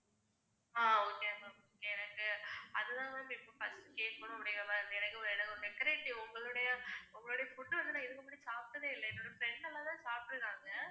ஆஹ் okay ma'am எனக்கு அதுதான் ma'am இப்போ first கேக்கணும் அப்படிங்கற மாதிரி இருந்தது. எனக்கு decorative உங்களுடைய உங்களுடைய food வந்து இதுக்கு முன்னாடி சாப்பிட்டதே இல்ல. என்னோட friends எல்லாந்தான் சாப்பிட்டுருக்காங்க.